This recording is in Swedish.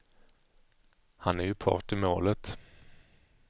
Han är ju part i målet.